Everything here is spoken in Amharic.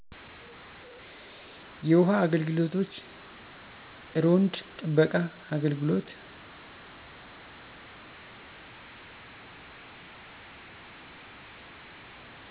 የውሃ አገልግሎቶች፣ እሮንድ ጥበቃ፣ አግልግሎት